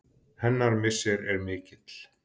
Hennar missir er mikill.